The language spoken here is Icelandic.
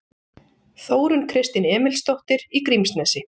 Þórunn Kristín Emilsdóttir í Grímsnesi